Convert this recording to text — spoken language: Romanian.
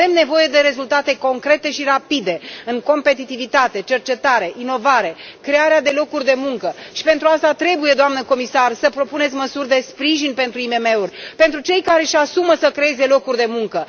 Avem nevoie de rezultate concrete și rapide în competitivitate, cercetare, inovare, crearea de locuri de muncă și pentru aceasta trebuie, doamnă comisar, să propuneți măsuri de sprijin pentru IMM uri, pentru cei care își asumă să creeze locuri de muncă.